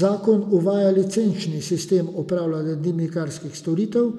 Zakon uvaja licenčni sistem opravljanja dimnikarskih storitev